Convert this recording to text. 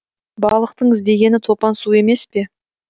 балықтың іздегені топан су емес пе